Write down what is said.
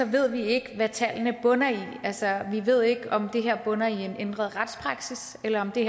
ved vi ikke hvad tallene bunder i altså vi ved ikke om det her bunder i en ændret retspraksis eller det